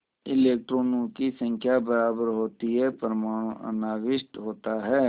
इलेक्ट्रॉनों की संख्या बराबर होती है परमाणु अनाविष्ट होता है